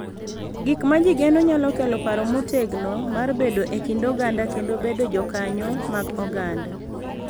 Gik ma ji geno nyalo kelo paro motegno mar bedo e kind oganda kendo bedo jokanyo mag oganda,